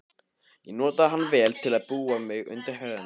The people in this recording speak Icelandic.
Ég notaði hann vel til að búa mig undir ferðina.